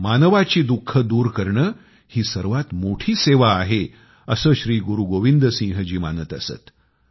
मानवाची दुःखे दूर करणे ही सर्वात मोठी सेवा आहे असे श्री गुरु गोबिंद सिंह जी मानत असत